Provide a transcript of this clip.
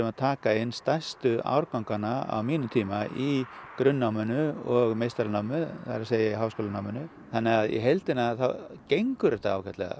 að taka inn stærstu árganga á mínum tíma í grunnnáminu og meistaranáminu það er háskólanáminu þannig að í heildina þá gengur þetta ágætlega